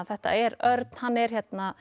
þetta er Örn hann er